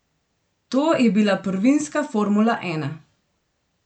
To je bila prvinska formula ena.